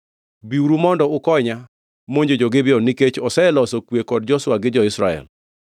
“Biuru mondo ukonya monjo Gibeon nikech oseloso kwe kod Joshua gi jo-Israel.”